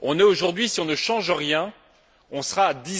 Aujourd'hui, si on ne change rien, on sera à